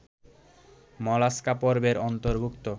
mollusca পর্বের অন্তর্ভুক্ত